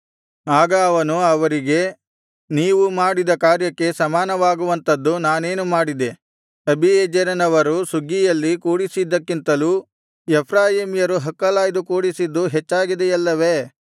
ಆಗ ಅವನು ಅವರಿಗೆ ನೀವು ಮಾಡಿದ ಕಾರ್ಯಕ್ಕೆ ಸಮಾನವಾಗುವಂತದ್ದು ನಾನೇನು ಮಾಡಿದೆ ಅಬೀಯೆಜೆರನವರು ಸುಗ್ಗಿಯಲ್ಲಿ ಕೂಡಿಸಿದ್ದಕ್ಕಿಂತಲೂ ಎಫ್ರಾಯೀಮ್ಯರು ಹಕ್ಕಲಾಯ್ದು ಕೂಡಿಸಿದ್ದು ಹೆಚ್ಚಾಗಿದೆಯಲ್ಲವೇ